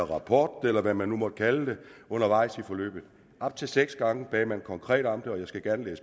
rapport eller hvad man nu måtte kalde det undervejs i forløbet op til seks gange bad man konkret om det og jeg skal gerne